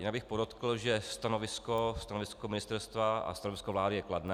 Jinak bych podotkl, že stanovisko ministerstva a stanovisko vlády je kladné.